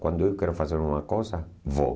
Quando eu quero fazer alguma coisa, vou.